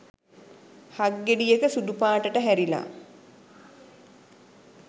හක් ගෙඩියක සුදු පාටට හැරිලා.